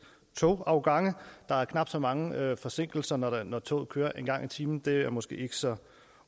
togafgange der er knap så mange forsinkelser når når toget kører en gang i timen det er måske ikke så